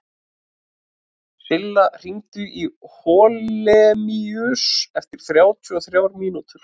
Silla, hringdu í Holemíus eftir þrjátíu og þrjár mínútur.